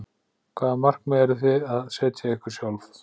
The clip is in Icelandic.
Hvaða markmið eruð þið að setja ykkur sjálfir?